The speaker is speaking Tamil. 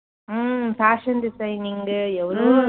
உம் fashion designing உ எவ்வளவோ